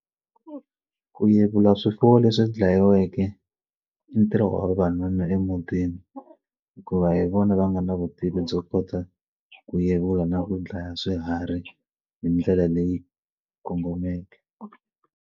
Ku yevula swifuwo leswi dlayiweke i ntirho wa vavanuna emutini hikuva hi vona va nga na vutivi byo kota ku yevula na ku dlaya swiharhi hi ndlela leyi kongomeke.